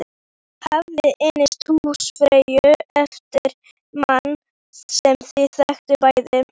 Ég hafði innt húsfreyju eftir manni sem við þekktum bæði.